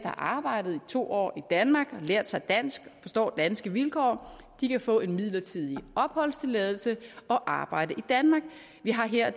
har arbejdet i to år i danmark har lært sig dansk og forstår danske vilkår kan få en midlertidig opholdstilladelse og arbejde i danmark vi har her